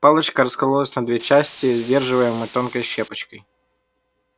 палочка раскололась на две части сдерживаемые тонкой щепочкой